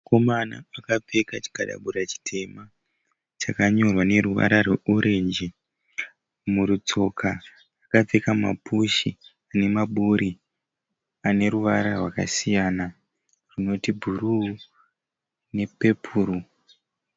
Mukomana akapfeka chikadabura chitema chakanyorwa neruvara rweorenji. Murutsoka akapfeka mapushi ane maburi ane ruvara rwakasiyana runoti bhuru nepepuru.